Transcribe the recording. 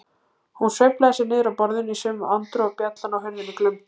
Hún sveiflaði sér niður af borðinu í sömu andrá og bjallan á hurðinni glumdi.